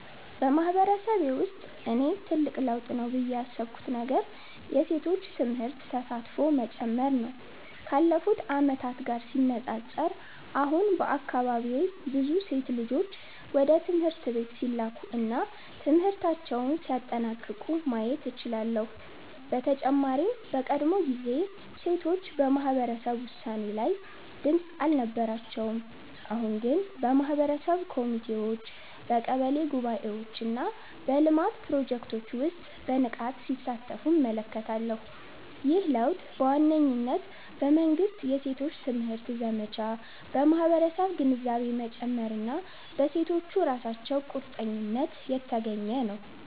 በማህበረሰቤ ውስጥ እኔ ትልቅ ለውጥ ነው ብዬ ያሰብኩት ነገር የሴቶች ትምህርት ተሳትፎ መጨመር ነው። ካለፉት ዓመታት ጋር ሲነጻጸር፣ አሁን በአካባቢዬ ብዙ ሴት ልጆች ወደ ትምህርት ቤት ሲላኩ እና ትምህርታቸውን ሲያጠናቅቁ ማየት እችላለሁ። በተጨማሪም በቀድሞ ጊዜ ሴቶች በማህበረሰብ ውሳኔ ላይ ድምጽ አልነበራቸውም፤ አሁን ግን በማህበረሰብ ኮሚቴዎች፣ በቀበሌ ጉባኤዎች እና በልማት ፕሮጀክቶች ውስጥ በንቃት ሲሳተፉ እመለከታለሁ። ይህ ለውጥ በዋነኝነት በመንግሥት የሴቶች ትምህርት ዘመቻ፣ በማህበረሰብ ግንዛቤ መጨመር እና በሴቶቹ ራሳቸው ቁርጠኝነት የተገኘ ነው።